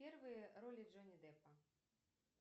первые роли джонни деппа